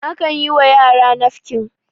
akan yiwa yara nafkin